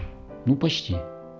ну почти